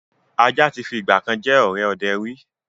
Ajá tí fi ìgbàkan jẹ́ ọ̀rẹ́ ọdẹ ríi